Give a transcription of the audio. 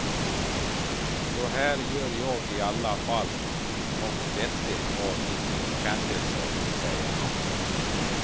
Så här gör jag i alla fall nåt vettigt av mitt kändisskap, säger han.